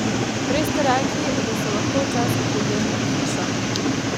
Prej ste rekli, da so lahko včasih problemi pri hišah.